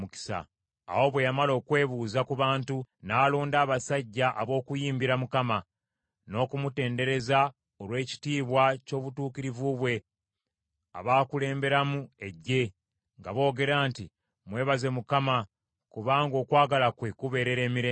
Awo bwe yamala okwebuuza ku bantu, n’alonda abasajja ab’okuyimbira Mukama , n’okumutendereza olw’ekitiibwa ky’obutuukirivu bwe, abakulemberamu eggye, nga boogera nti, “Mwebaze Mukama kubanga okwagala kwe kubeerera emirembe gyonna.”